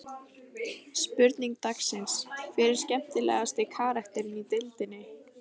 Spurning dagsins: Hver er skemmtilegasti karakterinn í deildinni?